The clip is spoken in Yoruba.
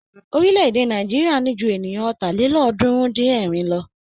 Orílẹ̀-èdè Nàìjíríà ní jú ènìyàn Ọ̀tàlélọ́ọ̀ọ́dúnrún-dín-ẹ̀rin lọ.